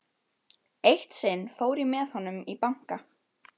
Eitt sinn fór ég með honum í banka.